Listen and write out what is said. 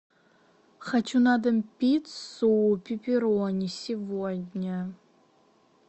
хочу на дом пиццу пепперони сегодня